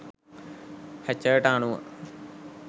හැචර්ට අනුව